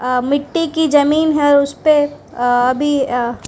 अ मिट्टी की जमीन है उसपे अभी अ--